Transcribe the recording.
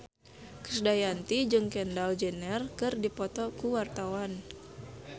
Krisdayanti jeung Kendall Jenner keur dipoto ku wartawan